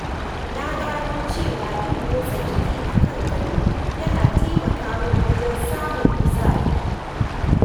Na gano cewa yin motsa jiki a kan gado yana taimaka min wajen samun kuzari.